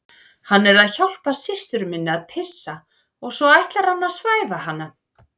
Hann er að hjálpa systur minni að pissa og svo ætlar hann að svæfa hana